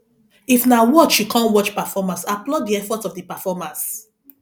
if na watch you come watch performance applaud di effort of di performers